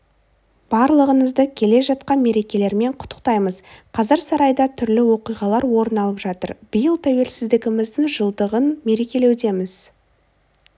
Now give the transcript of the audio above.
барлығыңызды келе жатқан мерекелермен құттықтаймыз қазір сарайда түрлі оқиғалар орын алып жатыр биыл тәуелсіздігіміздің жылдығын мерекелеудеміз